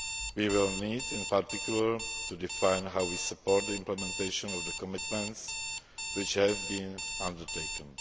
We will need, in particular, to define how we support implementation of the commitments which have been undertaken.